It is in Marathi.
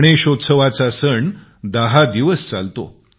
गणेशचतुर्थीचा सण दहा दिवस चालतो